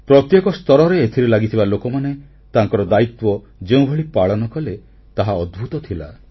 ପ୍ରତ୍ୟେକ ସ୍ତରରେ ଏଥିରେ ଲାଗିଥିବା ଲୋକମାନେ ତାଙ୍କର ଦାୟିତ୍ୱ ଯେଉଁଭଳି ପାଳନ କଲେ ତାହା ଅଦ୍ଭୁତ ଥିଲା